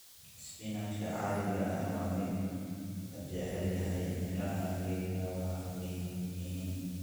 Isbinaajka caadiga ah waa mid la jecel yahay, miraha geedku waa weyn yihiin.